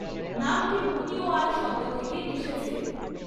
নামটি মুনিওয়ার শব্দ থেকে এসেছে।